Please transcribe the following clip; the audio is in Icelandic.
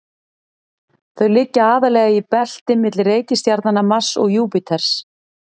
þau liggja aðallega í belti milli reikistjarnanna mars og júpíters